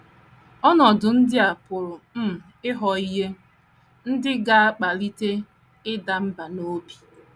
Ọnọdụ ndị a pụrụ um ịghọ ihe ndị ga - akpalite ịda mbà n’obi.